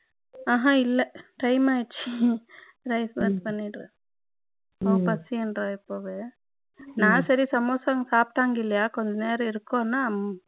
ஆஹான் இல்ல Time ஆயிடுச்சு Rice box பண்ணிடுறேன் அவ பசின்னுறா இப்பொவே நான் சரி சமோசா சாப்பிடங்க இல்லையா கொஞ்ச நேரம் இருக்கும் நான்